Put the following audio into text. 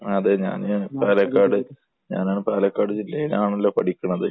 അത് തന്നെ. പാലക്കാട് ഞാൻ പാലക്കാട് ജില്ലയിലാണല്ലോ പഠിക്കുന്നത്.